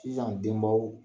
Sisan denbaw